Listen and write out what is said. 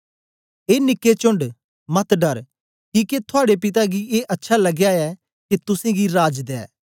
ए निके चोण्ड मत डर किके थुआड़े पिता गी ए अच्छा लगया ऐ के तुसेंगी राज दे